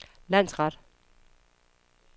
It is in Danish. landsret